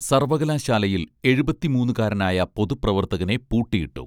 സർവ്വകലാശാലയിൽ എഴുപത്തിമൂന്നുകാരനായ പൊതുപ്രവർത്തകനെ പൂട്ടി ഇട്ടു